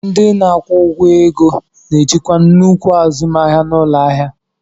Ndị na-akwụ ụgwọ ego na-ejikwa nnukwu azụmahịa n'ụlọ ahịa.